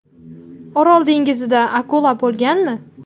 Orol dengizida akula bo‘lganmi?.